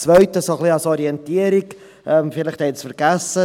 Das Zweite ein wenig als Orientierung, denn vielleicht geht es vergessen.